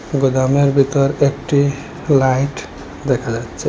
গোদামের ভিতর একটি লাইট দেখা যাচ্ছে।